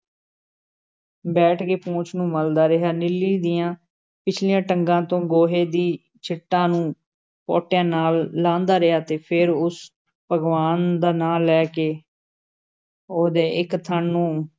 ਬੈਠ ਕੇ ਪੂਛ ਨੂੰ ਮਲ਼ਦਾ ਰਿਹਾ, ਨੀਲੀ ਦੀਆਂ ਪਿਛਲੀਆਂ ਟੰਗਾਂ ਤੋਂ ਗੋਹੇ ਦੀ ਛਿੱਟਾਂ ਨੂੰ ਪੋਟਿਆਂ ਨਾਲ਼ ਲਾਂਹਦਾ ਰਿਹਾ ਤੇ ਫੇਰ ਉਸ ਭਗਵਾਨ ਦਾ ਨਾਂ ਲੈ ਕੇ ਉਹਦੇ ਇੱਕ ਥਣ ਨੂੰ